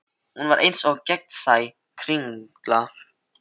Hún var eins og gegnsæ kringla.